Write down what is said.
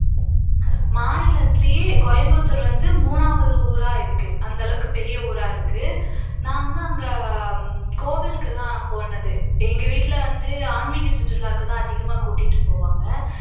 மாநிலத்துலயே கோயம்புத்தூர் வந்து மூணாவது ஊரா இருக்கு அந்த அளவுக்கு பெரிய ஊரா இருக்கு நான் வந்து அங்க கோவிலுக்குதான் போனது எங்க வீட்ல வந்து ஆன்மீக சுற்றுலாக்குதான் அதிகமா கூட்டிட்டு போவாங்க